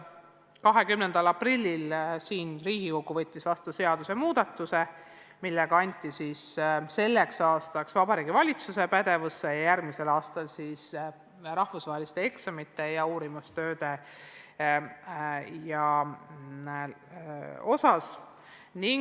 20. aprillil võttis Riigikogu vastu seadusemuudatuse, millega anti selleks aastaks Vabariigi Valitsuse pädevusse eksamite toimumise üle otsustamine, järgmiseks aastaks anti see pädevus ka rahvusvaheliste eksamite ja uurimistööde osas.